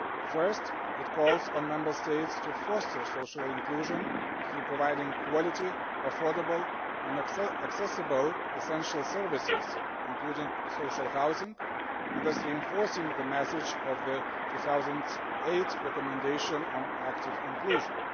First, it calls on Member States to foster social inclusion through providing quality, affordable and accessible essential services, including social housing, and thus reinforcing the message of the 2008 recommendation on active inclusion.